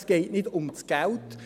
Es geht nicht um das Geld;